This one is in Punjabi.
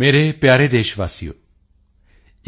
ਮੇਰੇ ਪਿਆਰੇ ਦੇਸ਼ ਵਾਸੀਓ